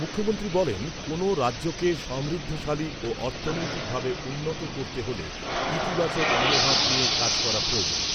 মুখ্যমন্ত্রী বলেন, কোনও রাজ্যকে সমৃদ্ধিশালী ও অর্থনৈতিকভাবে উন্নত করতে হলে ইতিবাচক মনোভাব নিয়ে কাজ করা প্রয়োজন৷